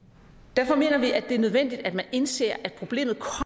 derfor mener vi det er nødvendigt at man indser at problemet